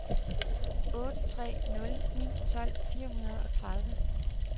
otte tre nul ni tolv fire hundrede og tredive